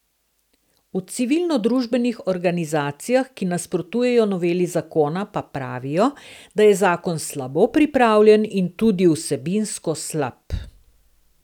V civilnodružbenih organizacijah, ki nasprotujejo noveli zakona, pa pravijo, da je zakon slabo pripravljen in tudi vsebinsko slab.